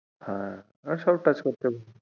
হ্যাঁ সবাই touch করতে,